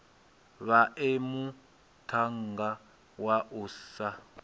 vhae muṱhannga wa u sa